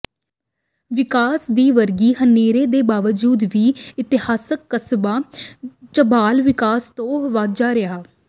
ਵਿਕਾਸ ਦੀ ਵਗੀ ਹਨੇਰੀ ਦੇ ਬਾਵਜੂਦ ਵੀ ਇਤਿਹਾਸਿਕ ਕਸਬਾ ਝਬਾਲ ਵਿਕਾਸ ਤੋਂ ਵਾਂਝਾ ਰਿਹੈ